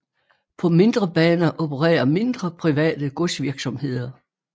På mindre baner opererer mindre private godsvirksomheder